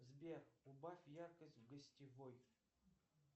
сбер убавь яркость в гостевой